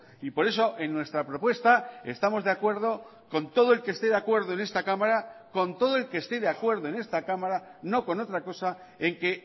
y por eso en nuestra propuesta estamos de acuerdo con todo el que esté de acuerdo en esta cámara con todo el que esté de acuerdo en esta cámara no con otra cosa en que